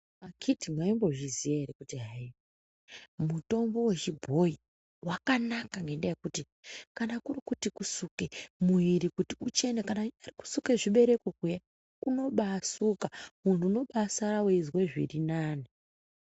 Akhiti mwaimbozviziya ere kuti hayii mutombo wechibhoyi wakanaka ngendayekuti kana kuri kuti kusuka muiri kuti uchene kana zviibereko kunobasuka munhu unobasara weizwa zviri nani.